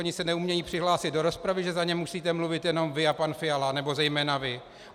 Oni se neumějí přihlásit do rozpravy, že za ně musíte mluvit jenom vy a pan Fiala, nebo zejména vy?